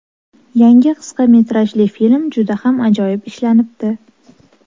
Yangi qisqa metrajli film juda ham ajoyib ishlanibdi.